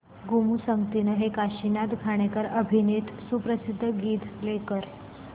गोमू संगतीने हे काशीनाथ घाणेकर अभिनीत सुप्रसिद्ध गीत प्ले कर